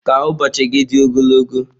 Ka ụbọochị gị dị ogologo.